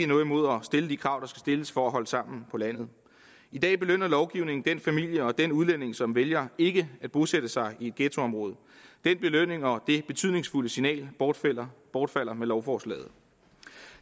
noget imod at stille de krav stilles for at holde sammen på landet i dag belønner lovgivningen den familie og den udlænding som vælger ikke at bosætte sig i et ghettoområde den belønning og det betydningsfulde signal bortfalder bortfalder med lovforslaget